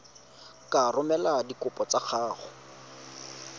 ka romela dikopo tsa gago